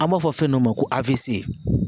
An b'a fɔ fɛn dɔ ma ko